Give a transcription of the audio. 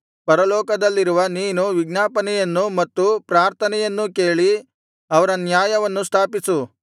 ಪರಲೋಕದಲ್ಲಿರುವ ನೀನು ವಿಜ್ಞಾಪನೆಯನ್ನು ಮತ್ತು ಪ್ರಾರ್ಥನೆಯನ್ನೂ ಕೇಳಿ ಅವರ ನ್ಯಾಯವನ್ನು ಸ್ಥಾಪಿಸು